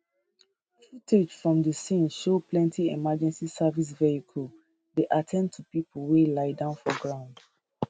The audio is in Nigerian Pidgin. footage from di scene show plenty emergency services vehicles dey at ten d to pipo wey lie down for ground